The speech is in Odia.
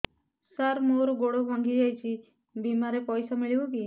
ସାର ମର ଗୋଡ ଭଙ୍ଗି ଯାଇ ଛି ବିମାରେ ପଇସା ମିଳିବ କି